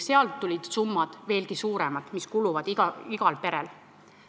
Sealt tulid välja veelgi suuremad summad, mida iga pere kulutab.